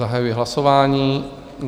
Zahajuji hlasování.